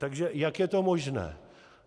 Takže jak je to možné?